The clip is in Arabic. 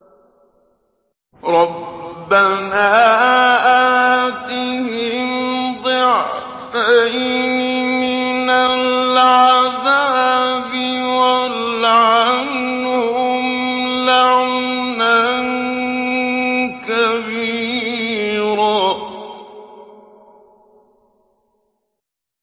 رَبَّنَا آتِهِمْ ضِعْفَيْنِ مِنَ الْعَذَابِ وَالْعَنْهُمْ لَعْنًا كَبِيرًا